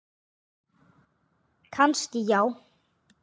Kannski já.